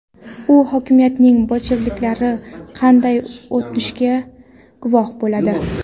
U hokimiyatning bolsheviklarga qanday o‘tishiga guvoh bo‘ladi.